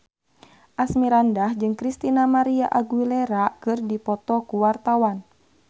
Asmirandah jeung Christina María Aguilera keur dipoto ku wartawan